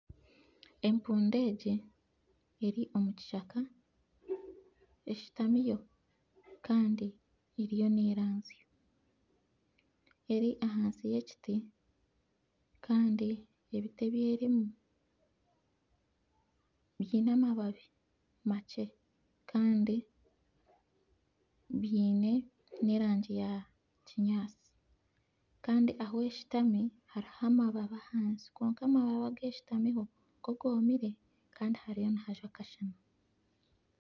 Empundu egi eri omu kishaka, eshutamiyo kandi eriyo neranzya. Eri ahansi y'ekiti, kandi ebiti ebyerimu biine amababi makye kandi biine n'erangi ya kinyaasi kandi ahu eshutami hariho amababi ahansi kwonka amababi agu eshutamiho go goomire kandi hariyo nihajwa akashana.